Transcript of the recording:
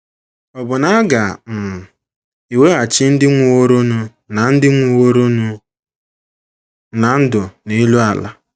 Ọbụna a ga - um ewachi ndị nwụworonụ ná ndị nwụworonụ ná ndụ n’elu ala.